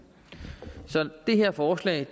så det her forslag